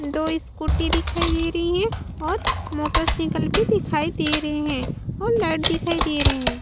दो स्कूटी दिखाई दे रही है और मोटरसाइकिल भी दिखाई दे रही है और लाइट दिखाई दे रही है।